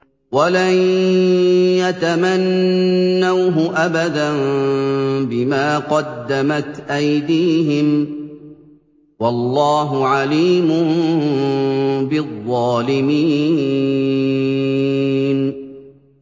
وَلَن يَتَمَنَّوْهُ أَبَدًا بِمَا قَدَّمَتْ أَيْدِيهِمْ ۗ وَاللَّهُ عَلِيمٌ بِالظَّالِمِينَ